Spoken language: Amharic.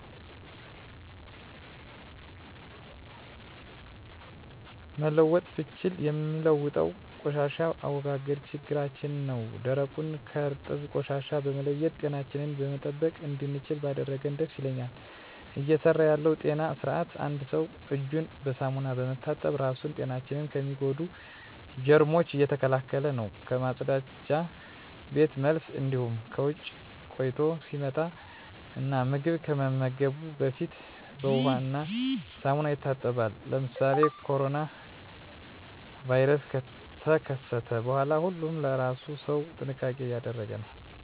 መለወጥ ብችል ምለውጠው የቆሻሻ አወጋገድ ችግራችን ነው ደረቁን ከእርጥብ ቆሻሻ በመለየት ጤናችንን መጠበቅ እንድችል ባደርግ ደስ ይለኛል። እየሰራ ያለው የጤና ስርአት አንድ ሰው እጁን በሳሙና በመታጠብ ራሱን ጤናችን ከሚጎዱ ጀርሞች እየተከላከለ ነው ከመፀዳጃ ቤት መልስ እንዲሁም ከውጭ ቆይቶ ሲመጣ እና ምግብ ከመመገቡ በፊት በውሃ እና ሳሙና ይታጠባል። ለምሳሌ ኮሮና ቫይረስ ከተከሰተ በኋላ ሁሉም ለእራሱ ሰው ጥንቃቄ እያደረገ ነው።